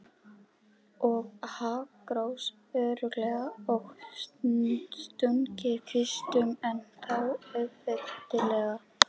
Og hakakross, óreglulegan og stunginn kvistum en þó auðþekkjanlegan.